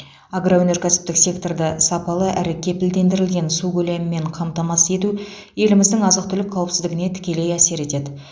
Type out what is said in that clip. агроөнеркәсіптік секторды сапалы әрі кепілдендірілген су көлемімен қамтамасыз ету еліміздің азық түлік қауіпсіздігіне тікелей әсер етеді